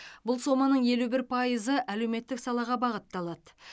бұл соманың елу бір пайызы әлеуметтік салаға бағытталады